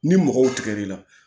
Ni mɔgɔw tigɛ l'i la